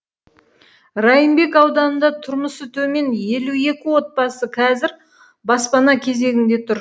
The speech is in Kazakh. райымбек ауданында тұрмысы төмен елу екі отбасы қазір баспана кезегінде тұр